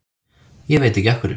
Ég veit ekki af hverju.